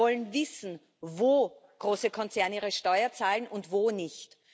Wir wollen wissen, wo große Konzerne ihre Steuer zahlen und wo nicht.